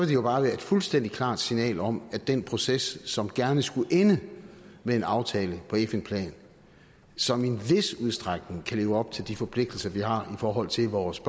det jo bare være et fuldstændig klart signal om at den proces som gerne skulle ende med en aftale på fn plan som i en vis udstrækning kan leve op til de forpligtelser vi har i forhold til vores